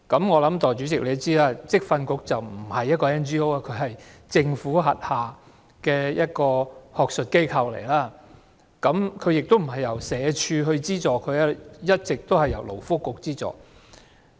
我想代理主席也知道，職訓局不是一間 NGO， 只是政府轄下一個學術機構，而且亦不是由社署資助，而是一直由勞工及福利局資助。